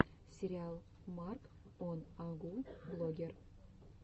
сериал марк он агу блогер